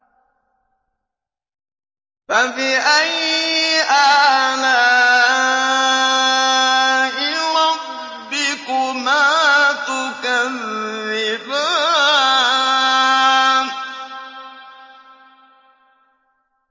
فَبِأَيِّ آلَاءِ رَبِّكُمَا تُكَذِّبَانِ